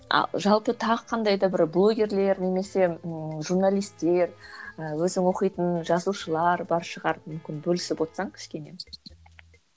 а жалпы тағы қандай да бір блогерлер немесе ыыы журналистер ыыы өзің оқитын жазушылар бар шығар мүмкін бөлісіп отырсаң кішкене